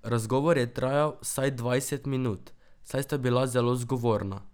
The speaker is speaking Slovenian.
Razgovor je trajal vsaj dvajset minut, saj sta bila zelo zgovorna.